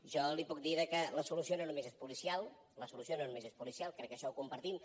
jo li puc dir que la solució no només és policial la solució no només és policial crec que això ho compartim